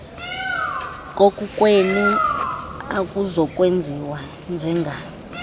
kukokwenu akuzokwenziwa njenga